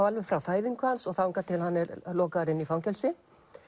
alveg frá fæðingu hans og þangað til hann er lokaður inni í fangelsi